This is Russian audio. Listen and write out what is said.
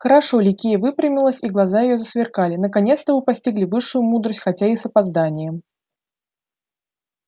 хорошо ликия выпрямилась и глаза её засверкали наконец-то вы постигли высшую мудрость хотя и с опозданием